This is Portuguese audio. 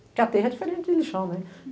Porque a terra é diferente de lixão, né?